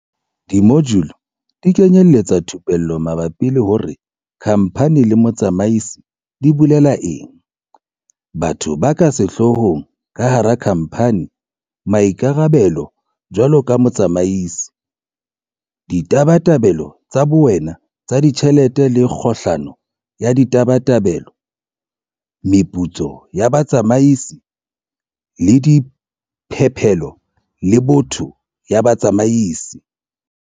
Dimojule di kenyeletsa thupello mabapi le hore kha mphani le motsamaisi di bolela eng, batho ba ka sehloohong ka hara khamphani, maikarabelo jwaloka motsamaisi, ditabatabelo tsa bowena tsa ditjhelete le kgohlano ya ditabatabelo, meputso ya batsamaisi le diphepelo le boto ya batsamaisi.